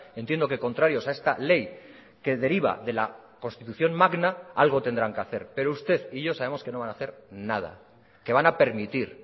entiendo que contrarios a esta ley que deriva de la constitución magna algo tendrán que hacer pero usted y yo sabemos que no van a hacer nada que van a permitir